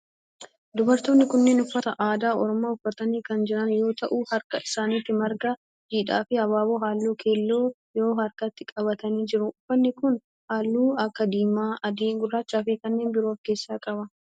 Dubartoonni kunneen uffata aadaa oromoo uffatanii kan jiran yoo ta'u harka isaanitti marga jiidhaa fi abaaboo halluu keelloo qabu harkatti qabatanii jiru. Uffanni kun halluu akka diimaa, adii, gurraachaa fi kanneen biroo of keessaa qaba.